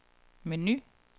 menu